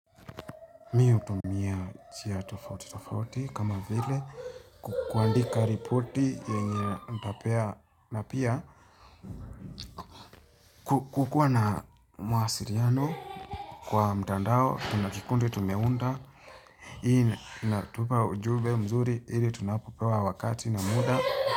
Mi hutumia njia tofauti tofauti kama vile kuandika ripoti yenye nitapea na pia kukuwa na mwasiliano kwa mtandao tuna kikundi tumeunda hii inatupa ujumbe mzuri ili tunapopewa wakati na muda.